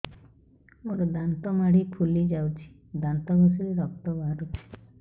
ମୋ ଦାନ୍ତ ମାଢି ଫୁଲି ଯାଉଛି ଦାନ୍ତ ଘଷିଲେ ରକ୍ତ ବାହାରୁଛି